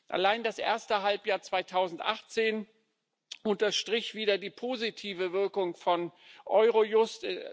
Allein das erste Halbjahr 2018 unterstrich wieder die positive Wirkung von Eurojust.